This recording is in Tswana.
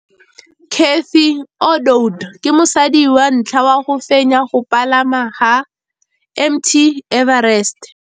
Cathy Odowd ke mosadi wa ntlha wa go fenya go pagama ga Mt Everest.